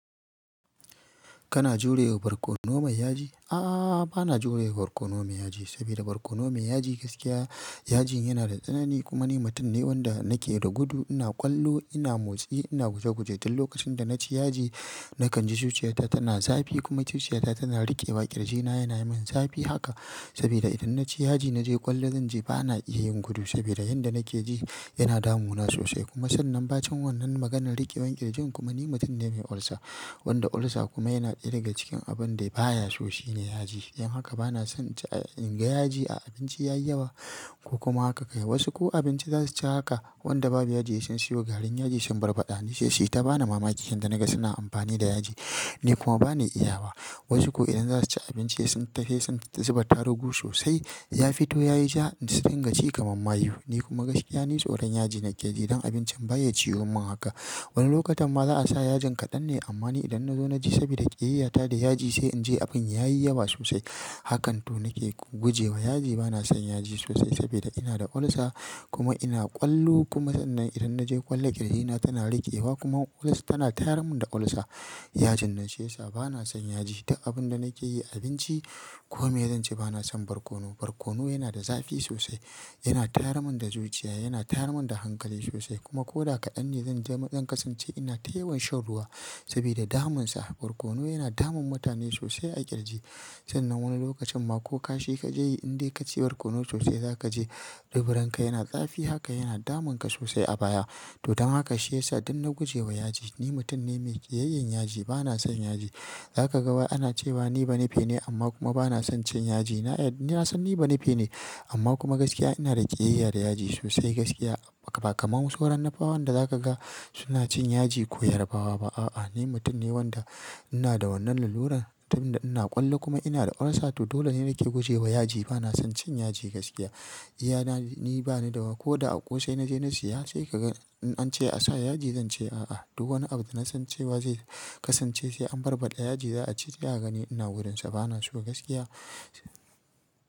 Kana jurewa barkono mai yaji? A'a, bana jurewa barkono mai yaji sabida barkono mai yaji gaskiya yajin yana da tsanani kuma ni mutum ne wanda nake da gudu, ina ƙwallo, ina motsi, ina guje-guje. Tin lokacin da naci yaji nakan ji zuciyata tana zafi kuma zuciyata tana riƙewa, ƙirjina yana yi min zafi haka sabida idan naci yaji naje ƙwallo zan ji bana iya yin gudu sabida yanda nake ji yana damuna sosai kuma sannan ba cin wannan maganan riƙewan ƙirjin kuma ni mutum ne mai ulcer wanda ulcer kuma yana ɗaya da cikin abun da baya so shine yaji. Don haka bana son in ga yaji a abinci ya yi yawa ko kuma haka ka yi. Wasu ko abinci za su ci haka wanda babu yaji sai sun siyo garin yaji sun barbaɗa. Ni sai siya ta bani mamaki inda na ga suna amfani da yaji, ni kuma bani iyawa. Wasu ko idan za su ci abinci sai sun ta sai sun zuba tarugu sosai ya fito yayi ja sai su riga ci kamar mayu. Ni kuma gaskiya ni tsoran yaji nake yi don abincin bayya ciyummin haka. Wani lokatamma za a sa yajin kaɗan ne amma ni idan na zo na ji saboda ƙiyayyata da yaji sai in ji abin ya yi yawa sosai. Hakan toh nake gujewa yaji bana son yaji sosai saboda ina da ulcer kuma ina ƙwallo kuma sannan idan naje ƙwallo ƙirjina tana riƙewa kuma ulcer tana tayar mun da ulcer. Yajin nan sai sa bana son yaji da abun da nake yi abinci kome zan ce bana son barkono. Barkono yana da zafi sosai, yana tayar mun da zuciya, yana tayar mun da hankali sosai kuma ko da kaɗan ne zan je zan kasance ina ta yawan shan ruwa saboda damun sa. Barkono yana damun mutane sosai a ƙirji. Sannan wani lokacin ma ko kashi ka je in dai ka ci barkono sosai za ka je duburanka yana zafi haka yana damun ka sosai a baya. Toh don haka shi yasa idan na gujewa yaji ni mutum ne mai ƙiyayyan yaji bana son yaji. Za ka ga wai ana cewa ni banife ne amma kuma bana son cin yaji. Na ya, ni nasan ni banife ne amma kuma gaskiya ina da ƙiyayya da yaji sosai gaskiya ba kamar wasu sauran nupawan da za ka ga suna cin yaji koyar bawa. A'a ni mutum ne wanda ina da wannan lalurar tunda ina kwallo kuma ina da ulcer to dole he nake gujema yaji bana san cin yaji gaskiya Iya na ni bani dawa ko da a ƙosai na je na siya sai ka ga in an ce a sa yaji zan ce a'a. To wani abu da na san cewa zai kasance sai an barbaɗa yaji za a ci sai a gani ina gudun sa bana so gaskiya.